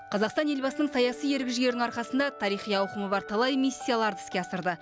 қазақстан елбасының саяси ерік жігерінің арқасында тарихи ауқымы бар талай миссияларды іске асырды